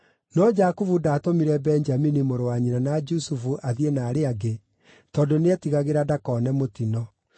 No Jakubu ndaatũmire Benjamini mũrũ wa nyina na Jusufu athiĩ na arĩa angĩ, tondũ nĩetigagĩra ndakone mũtino.